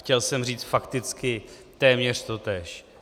Chtěl jsem říct fakticky téměř totéž.